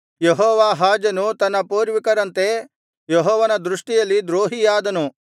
ಯೆಹೋವಾಹಾಜನು ತನ್ನ ಪೂರ್ವಿಕರಂತೆ ಯೆಹೋವನ ದೃಷ್ಟಿಯಲ್ಲಿ ದ್ರೋಹಿಯಾದನು